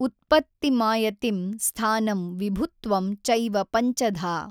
ಉತ್ಪತ್ತಿಮಾಯತಿಂ ಸ್ಥಾನಂ ವಿಭುತ್ವಂ ಚೈವ ಪಂಚಧಾ।